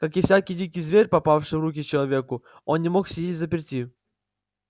как и всякий дикий зверь попавший в руки к человеку он не мог сидеть взаперти